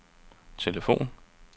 telefon